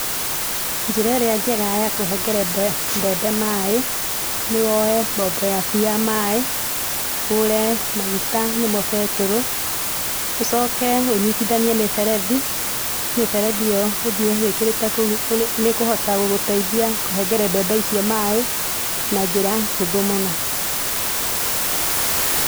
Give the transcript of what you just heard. Njĩra ĩrĩa njega ya kũhengere mbembe maĩ, nĩ woe mbombo yaku ya maĩ, ũgũre maguta nĩmo betũrũ, ũcoke ũnyitithanie mĩberethi. Mĩberethi ĩyo ũthiĩ wĩkĩrĩte kũu nĩĩkũhota kũnengere mbembe icio maĩ na njĩra hũthũ mũno.